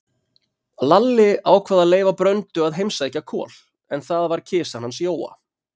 Lalli ákvað að leyfa Bröndu að heimsækja Kol, en það var kisan hans Jóa.